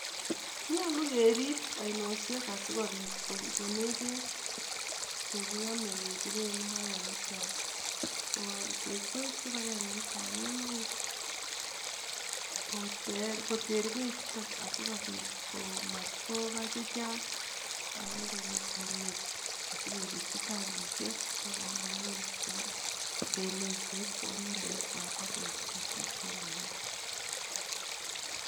Nyolu kerib ainoshek sikobit kokonech bek cheyamei kebiren imbaret tekwech kipakengeit ab emet koter bechuton asikobit kobwa chechang akebirji tangishek sikoribok